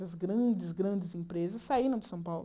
As grandes, grandes empresas saíram de São Paulo.